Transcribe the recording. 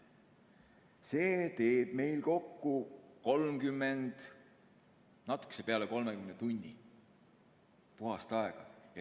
See teeb kokku natuke üle 30 tunni puhast aega.